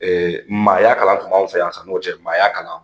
Maaya kalan tun b'anw fɛ yan san n'o cɛ maaya kalan.